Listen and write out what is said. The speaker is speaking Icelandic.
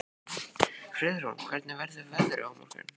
Friðrún, hvernig verður veðrið á morgun?